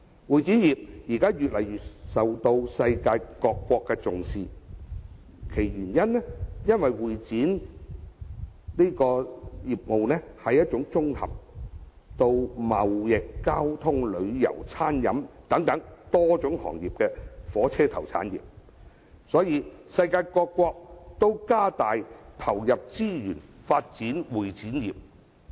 會展業現在越來越受到世界各國重視，究其原因，是會展業是一種綜合了貿易、交通、旅遊、餐飲等多種行業的火車頭產業，所以世界各國都增加投入資源發展會展業。